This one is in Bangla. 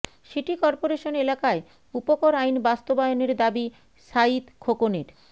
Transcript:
সিটি কর্পোরেশন এলাকায় উপকর আইন বাস্তবায়নের দাবি সাঈদ খোকনের